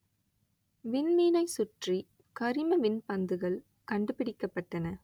விண்மீனை சுற்றி கரிம விண்பந்துகள் கண்டுபிடிக்கப்பட்டன